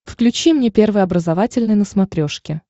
включи мне первый образовательный на смотрешке